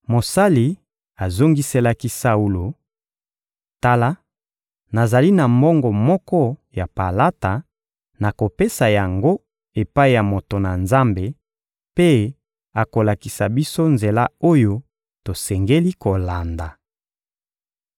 Mosali azongiselaki Saulo: — Tala, nazali na mbongo moko ya palata; nakopesa yango epai ya moto na Nzambe, mpe akolakisa biso nzela oyo tosengeli kolanda.